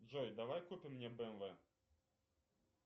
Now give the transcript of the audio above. джой давай купим мне бмв